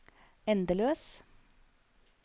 endeløs